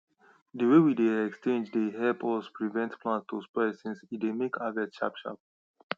the way we dey exchange dey help us prevent plant to spoil since e dey make harvest sharp sharp